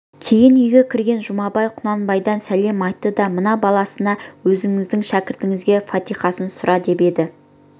кейін үйге кіргенде жұмабай құнанбайдан сәлем айтты да мына баласына өзіңіздің шәкіртіңізге фатихасын сұра деп еді